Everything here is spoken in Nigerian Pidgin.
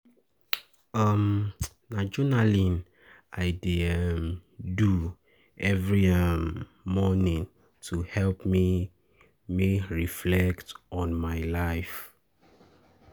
um Na journaling I dey um do every um morning to help me me reflect on my life.